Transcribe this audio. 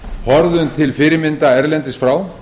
horfðum til fyrirmynda erlendis frá